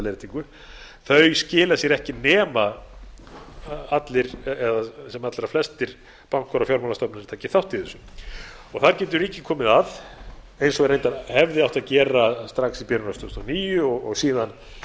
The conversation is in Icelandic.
efnahagslega áhrifin af skuldaleiðréttingu skila sér ekki nema allir eða sem allra flestir bankar og fjármálastofnanir taki þátt í þessu þar getur ríkið komið að eins og reyndar hefði átt að gera strax í byrjun árs tvö þúsund og níu og síðan